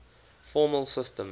formal systems